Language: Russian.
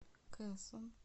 кэсон